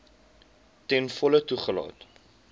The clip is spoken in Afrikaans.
ten volle toegelaat